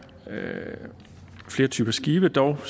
typer skibe dog